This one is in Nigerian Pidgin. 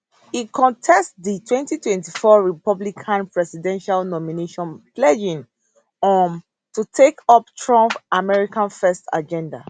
e contest di 2024 republican presidential nomination pledging um to take up trump america first agenda